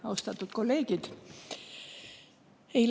Austatud kolleegid!